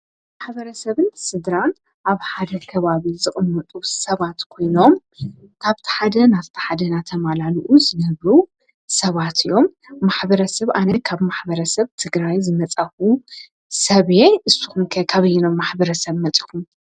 ማሕበረ ሰብን ስድራን ኣብ ሓደ ከባብ ዝቕመጡ ሰባት ኮይኖም ካብታ ሓደ ናብቲ ሓደ ናተማላልኡ ዝነብሩ ሰባት እዮም። ማኅበረ ሰብ ኣነ ካብ ማኅበረ ሰብ ትግራይ ዝመጻኹ ሰብ እየ። እሱኹም ከ ካብይኖም ማኅበረ ሰብ መጺእኹም?